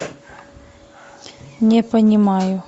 не понимаю